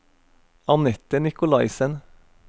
Anette Nicolaisen